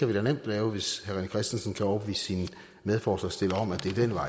vi da nemt lave hvis herre rené christensen kan overbevise sine medforslagsstillere om at